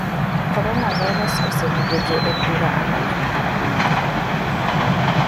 Coronavirus osenego jo od bura ang'wen mag bunge.